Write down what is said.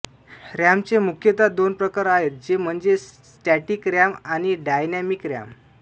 RAM चे मुख्यता दोन प्रकार आहेत जे म्हणजे स्टॅटिक रॅम आणि डायनॅमिक रॅम